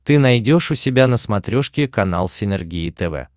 ты найдешь у себя на смотрешке канал синергия тв